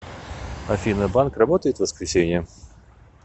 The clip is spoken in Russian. афина банк работает в воскресенье